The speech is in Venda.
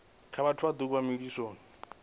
nga vhathu vhaṱuku vhe malisoni